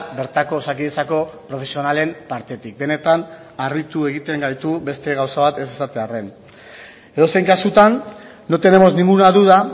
bertako osakidetzako profesionalen partetik benetan harritu egiten gaitu beste gauza bat ez esatearren edozein kasutan no tenemos ninguna duda